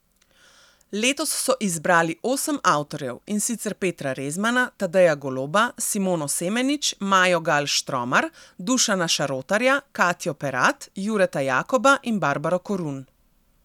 Letos so izbrali osem avtorjev, in sicer Petra Rezmana, Tadeja Goloba, Simono Semenič, Majo Gal Štromar, Dušana Šarotarja, Katjo Perat, Jureta Jakoba in Barbaro Korun.